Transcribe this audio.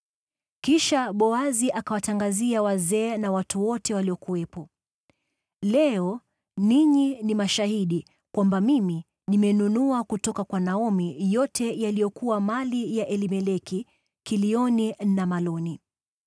Kisha Boazi akawatangazia wazee na watu wote waliokuwepo, “Leo ninyi ni mashahidi kwamba mimi nimenunua kutoka kwa Naomi yote yaliyokuwa mali ya Elimeleki, Kilioni na Maloni.